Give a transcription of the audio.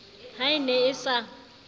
ha e ne e sa